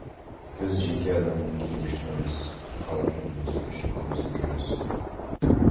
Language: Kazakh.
біз жеке адамның кегі үшін емес халық мүддесі үшін күресіп жүрміз